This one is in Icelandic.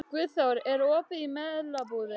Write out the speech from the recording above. Guðþór, er opið í Melabúðinni?